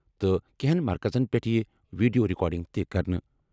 تہٕ کینٛہَن مرکزَن پٮ۪ٹھ یِیہِ ویڈیو ریکارڈنگ تہِ کرنہٕ۔